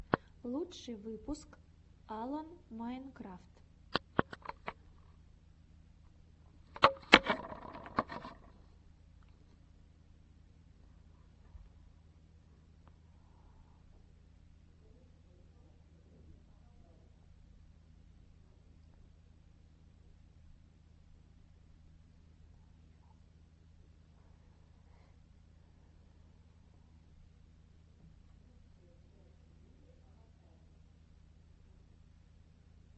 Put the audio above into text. лучший выпуск алан майнкрафт